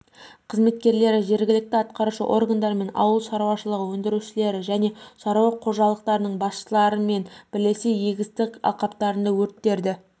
қызметкерлері жергілікті атқарушы органдармен ауыл шарушылығы өңдірушілері және шаруа қожалықтарының басшыларымен бірлесе егістік алқаптарында өрттерді